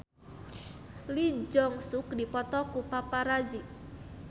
Lee Jeong Suk dipoto ku paparazi